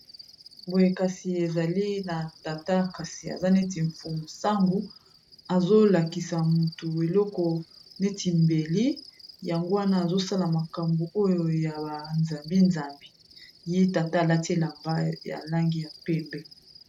boye kasi ezali na tata kasi aza neti mfuosango azolakisa motu eloko neti mbeli yango wana azosala makambo oyo ya ba nzambi-nzambi ye tata alati elamba ya langi ya mpembe